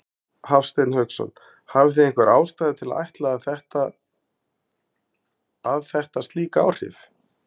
Hafsteinn Hauksson: Hafið þið einhverja ástæðu til að ætla að, að þetta slík áhrif?